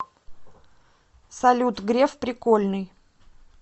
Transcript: салют греф прикольный